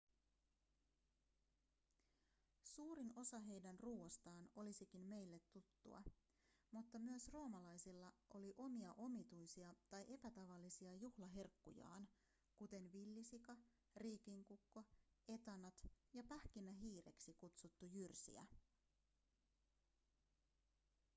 suurin osa heidän ruoastaan olisikin meille tuttua mutta myös roomalaisilla oli omia omituisia tai epätavallisia juhlaherkkujaan kuten villisika riikinkukko etanat ja pähkinähiireksi kutsuttu jyrsijä